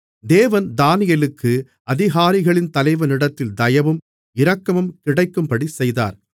தேவன் தானியேலுக்கு அதிகாரிகளின் தலைவனிடத்தில் தயவும் இரக்கமும் கிடைக்கும்படி செய்தார்